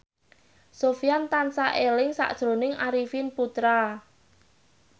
Sofyan tansah eling sakjroning Arifin Putra